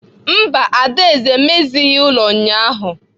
Mba, Adaeze emezighị ụlọ ụnyahụ.